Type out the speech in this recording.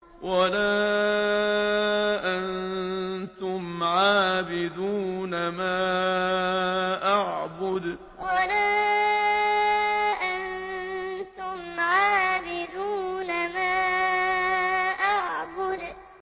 وَلَا أَنتُمْ عَابِدُونَ مَا أَعْبُدُ وَلَا أَنتُمْ عَابِدُونَ مَا أَعْبُدُ